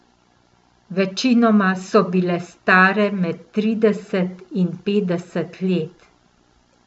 Večinoma so bile stare med trideset in petdeset let.